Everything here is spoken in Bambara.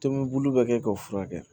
Tomi bulu bɛ kɛ k'o furakɛ